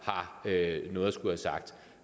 har lavet